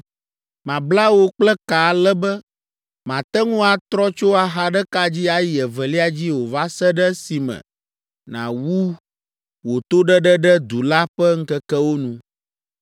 Mabla wò kple ka ale be màte ŋu atrɔ tso axa ɖeka dzi ayi evelia dzi o va se ɖe esime nàwu wò toɖeɖe ɖe du la ƒe ŋkekewo nu.